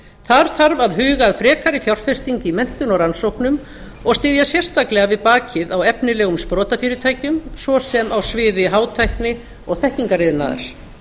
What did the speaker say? þar þarf að huga að frekari fjárfestingu í menntun og rannsóknum og styðja sérstaklega við bakið á efnilegum sprotafyrirtækjum svo sem á sviði hátækni og þekkingariðnaðar